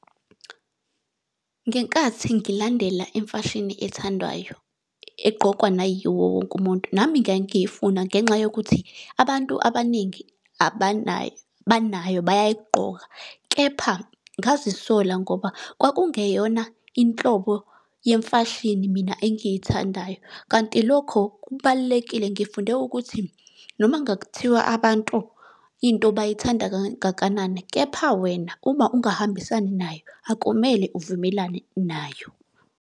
Ngenkathi ngilandela imfashini ethandwayo, eqqokwa nayiwo wonke umuntu, nami ngangiyifuna ngenxa yokuthi abantu abaningi abanayo, banayo bayayigqoka, kepha ngazisola ngoba kwakungeyona inhlobo yemfashini mina engiyithandayo. Kanti lokho kubalulekile ngifunde ukuthi noma kungathiwa abantu into bayithanda kangakanani, kepha wena, uma ungahambisani nayo, akumele uvumelane nayo.